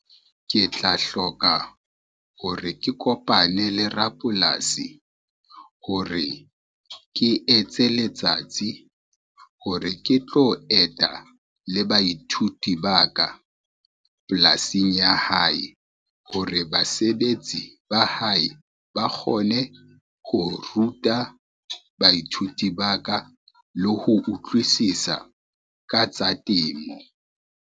Ke tla hloka hore ke kopane le rapolasi hore, ke etse letsatsi hore ke tlo eta le baithuti ba ka, polasing ya hae hore basebetsi ba hae ba kgone ho ruta baithuti ba ka le ho utlwisisa ka tsa temo.